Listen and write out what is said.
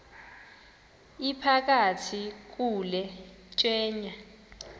iphakathi kule tyeya